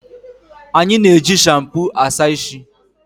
Anyi na-eji shampu Asa ishi